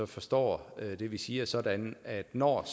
forstår det vi siger sådan at når